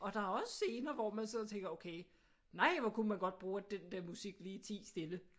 Og der er også scener hvor man sidder og tænker okay nej hvor kunne man godt bruge at den der musik lige tiede stille